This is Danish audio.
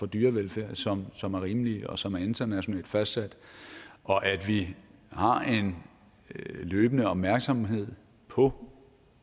dyrevelfærd som som er rimelige og som er internationalt fastsat og at vi har en løbende opmærksomhed på